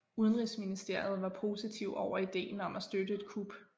Udenrigsministeriet var positiv over ideen om at støtte et kup